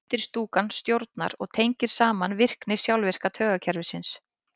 undirstúkan stjórnar og tengir saman virkni sjálfvirka taugakerfisins